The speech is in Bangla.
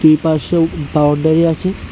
এপাশে বাউন্ডারি আছে।